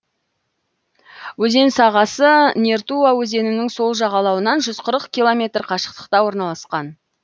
өзен сағасы нертуа өзенінің сол жағалауынан жүз қырық километр қашықтықта орналасқан